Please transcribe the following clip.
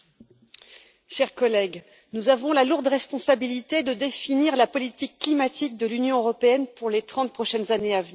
Monsieur le Président, chers collègues, nous avons la lourde responsabilité de définir la politique climatique de l'Union européenne pour les trente prochaines années.